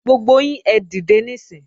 Gbogbo yín ẹ dìde níìsín!